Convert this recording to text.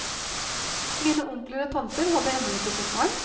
Mine onkler og tanter hadde ennå ikke fått barn.